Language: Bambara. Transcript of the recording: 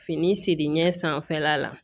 Fini siri ɲɛ sanfɛla la